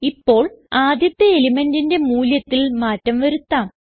ഇപ്പോൾ ആദ്യത്തെ elementന്റിന്റെ മൂല്യത്തിൽ മാറ്റം വരുത്താം